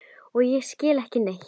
Og ég skil ekki neitt.